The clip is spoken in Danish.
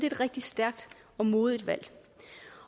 et rigtig stærkt og modigt valg